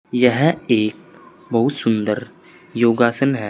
यह एक बहुत सुंदर योगासन है।